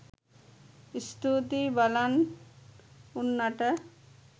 ස්තූතියි බලන් උන්නට